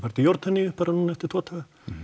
til Jórdaníu bara núna eftir tvo daga